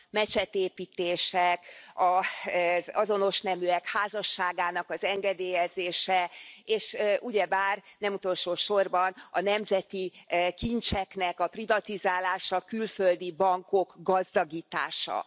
mecsetépítések, az azonos neműek házasságának engedélyezése, és ugyebár nem utolsósorban a nemzeti kincseknek a privatizálása, a külföldi bankok gazdagítása.